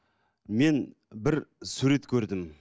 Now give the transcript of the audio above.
мен бір сурет көрдім